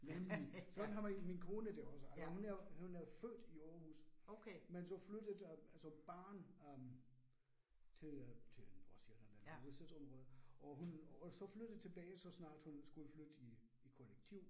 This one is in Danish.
Nemlig, sådan har min kone det også. Altså hun er hun er født i Aarhus, men så flyttet altså barn øh til øh til Nordsjælland eller Hovedstadsområdet, og hun og så flyttede tilbage så snart hun skulle flytte i i kollektiv